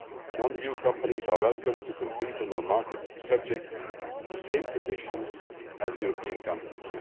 Non EU companies are welcome to compete on our market, subject to the same conditions as European companies.